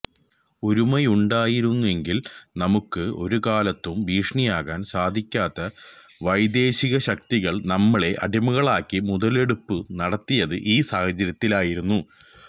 ഒരുമയുണ്ടായിരുന്നെങ്കിൽ നമുക്ക് ഒരുകാലത്തും ഭീഷണിയാകാൻ സാധിക്കാത്ത വൈദേശിക ശക്തികൾ നമ്മളെ അടിമകളാക്കി മുതലെടുപ്പു നടത്തിയത് ഈ സാഹചര്യത്തിലായിരുന്നു